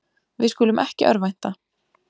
Við skulum ekki örvænta.